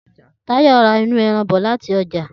Tayò̩ ra inú e̩ran bò̩ láti o̩jà